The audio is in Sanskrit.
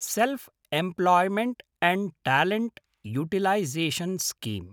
self-employment and talent utilisation scheme